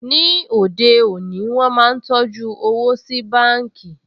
Ní òde òní, wọ́n máa ń tọjú owó sí báǹkì